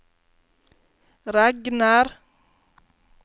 regner